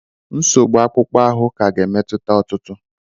Nsogbu akpụkpọ ahụ ka ga-emetụta ọtụtụ.